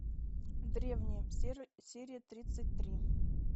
древние серия тридцать три